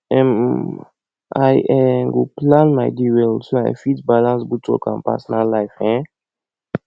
um i um go plan my day well so i fit balance both work and personal life um